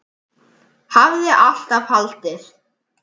Hafði alltaf haldið.